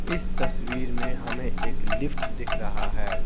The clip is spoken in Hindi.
इस तस्वीर में हमें एक लिफ्ट दिख रहा है।